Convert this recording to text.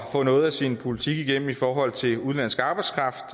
få noget af sin politik igennem i forhold til udenlandsk arbejdskraft